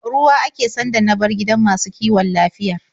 Ruwa ake sanda na bar gidan masu kiwon lafiyar.